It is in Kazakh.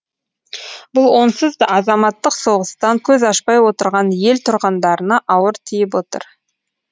бұл онсыз да азаматтық соғыстан көз ашпай отырған ел тұрғындарына ауыр тиіп отыр